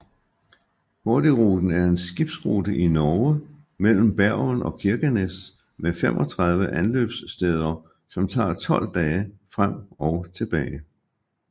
Hurtigruten er en skibsrute i Norge mellem Bergen og Kirkenes med 35 anløbssteder som tager 12 dage frem og tilbage